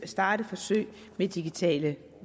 starte forsøg med digitale